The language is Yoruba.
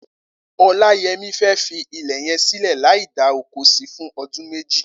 Olayemi fẹ́ fi ilẹ yẹn silẹ làí dà ókó si fùn odùn méjí